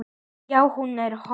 Já, hún er horfin.